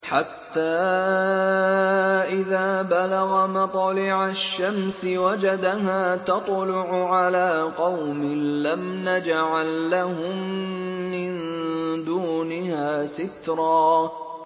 حَتَّىٰ إِذَا بَلَغَ مَطْلِعَ الشَّمْسِ وَجَدَهَا تَطْلُعُ عَلَىٰ قَوْمٍ لَّمْ نَجْعَل لَّهُم مِّن دُونِهَا سِتْرًا